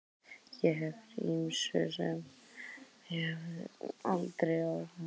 Ég hef orðið fyrir ýmsu sem mig hefði aldrei órað fyrir.